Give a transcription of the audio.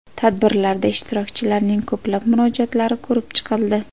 Tadbirlarda ishtirokchilarning ko‘plab murojaatlari ko‘rib chiqildi.